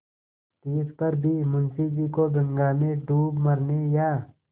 तिस पर भी मुंशी जी को गंगा में डूब मरने या